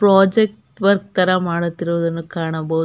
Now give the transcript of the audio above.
Project work ಮಾಡುದ್ರು ಇಲ್ಲಿ ಕಾಣ್ಬಹುದು.